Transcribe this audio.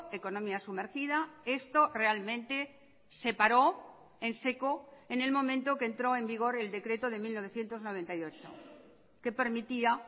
economía sumergida esto realmente se paró en seco en el momento que entró en vigor el decreto de mil novecientos noventa y ocho que permitía